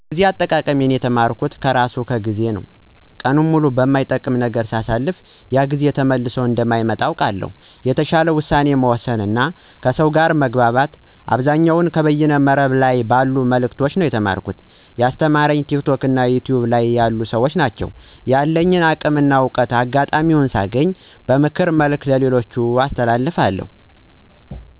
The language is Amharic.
ጊዜ አጠቃቀም የተማርኩት ከራሱ ከ ጊዜ ነው። ቀኑን ሙሉ በማይጠቅም ነገር ሳሳልፍ ያ ጊዜ ተመልሶ እንደማይመጣ አውቀዋለሁ። የተሻለ ውሳኔ መወሰን እና ከሰው ጋር መግባባት አብዛኛውን ከበይነ መረብ ላይ ባሉ መልዕክቶች ነው የተማርኩት። ያስተማሩኝም ቲክቶክ እና ዩቱይብ ላይ ያሉ ሰዎች ናቸው። ያለኝን አቅም እና እውቀት አጋጣሚውን ሳገኝ በምክር መልኩ ለሌሎች አስተላልፋለሁ።